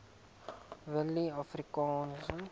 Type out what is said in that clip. willieafrikaanse